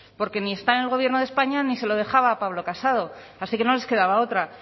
porque ni están en el gobierno de españa ni se lo dejaba a pablo casado así que no les quedaba otra